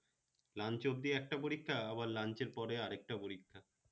lunch অব্দি একটা পরিক্ষা আবার lunch এর পরে আরেকটা পরিক্ষা